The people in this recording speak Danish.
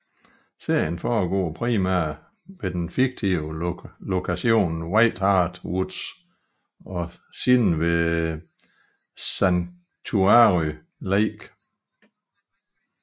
Serien foregår primært ved den fiktive lokation White Hart Woods og senere ved Sanctuary Lake